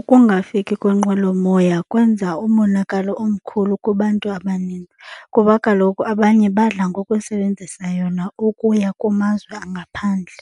Ukungafiki kwenqwelomoya kwenza umonakalo omkhulu kubantu abaninzi kuba kaloku abanye badla ngokusebenzisa yona ukuya kumazwe angaphandle.